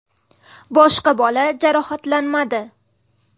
Boshqa bola jarohatlanmadi.